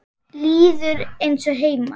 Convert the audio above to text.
Líður eins og heima.